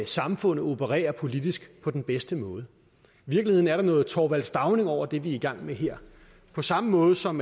samfundet opererer politisk på den bedste måde i virkeligheden er der noget thorvald stauning over det vi er i gang med her på samme måde som